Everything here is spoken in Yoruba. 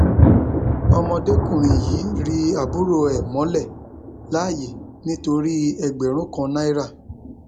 ọmọdékùnrin yìí ri àbúrò ẹ mọlẹ láàyè nítorí ẹgbẹrún kan náírà